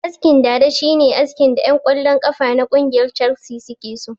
Askin dada shine askin da ƴan kwallon kafa na kungiyar calsi suke so